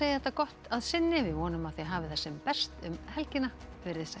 þetta gott að sinni vonum að þið hafið það sem best um helgina veriði sæl